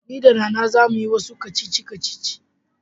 Ni da Nana za mu yi wasu kacici-kacici.